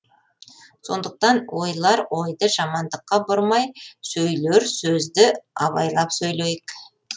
сондықтан ойлар ойды жамандыққа бұрмай сөйлер сөзді абайлап сөйлейік